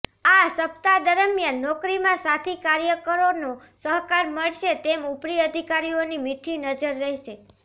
આ સપ્તાહ દરમિયાન નોકરીમાં સાથી કાર્યકરોનો સહકાર મળશે તેમ ઉપરી અધિકારીઓની મીઠી નજર રહેશે